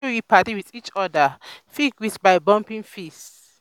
pipo wey be padi with each with each oda fit greet by bumping fists